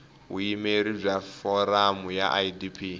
vuyimeri bya foramu ya idp